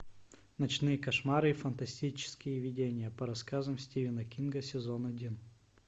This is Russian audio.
ночные кошмары и фантастические видения по рассказам стивена кинга сезон один